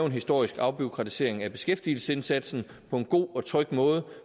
en historisk afbureaukratisering af beskæftigelsesindsatsen på en god og tryg måde